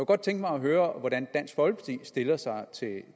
godt tænke mig at høre hvordan dansk folkeparti stiller sig til